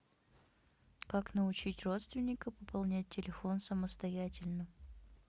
как научить родственника пополнять телефон самостоятельно